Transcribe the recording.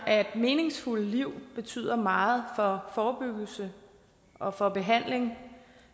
at et meningsfuldt liv betyder meget for forebyggelse og for behandling